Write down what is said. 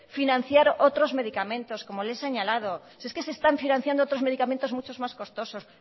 financiar otros medicamentos como les he señalado si es que se están financiando otros medicamentos mucho más costosos